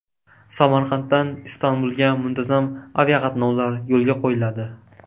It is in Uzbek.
Samarqanddan Istanbulga muntazam aviaqatnovlar yo‘lga qo‘yiladi.